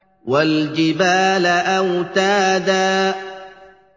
وَالْجِبَالَ أَوْتَادًا